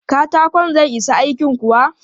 Katakon zai isa aikin kuwa?